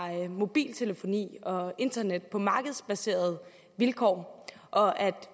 mobiltelefoni og internet på markedsbaserede vilkår og at